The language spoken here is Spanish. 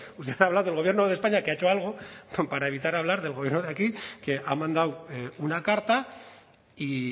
usted habla del gobierno de españa que ha hecho algo para evitar hablar del gobierno de aquí que ha mandado una carta y